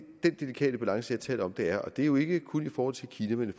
den delikate balance jeg taler om der er og det er jo ikke kun i forhold til kina men i